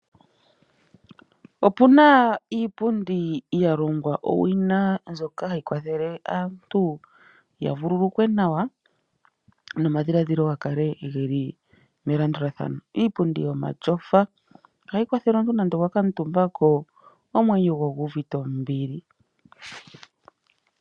Opuna iipundi yalongwa owina mbyoka hayi kwathele aantu yavululukwe nawa nomadhiladhilo gakale geli melandulathano. Iipundi yomatyofa ohayi kwathele omuntu nonando owa kuuntumba ko, omwenyo goye ogu uvite ombili.